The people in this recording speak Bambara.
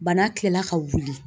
Bana tila ka wuli